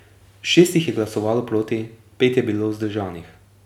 Šest jih je glasovalo proti, pet je bilo vzdržanih.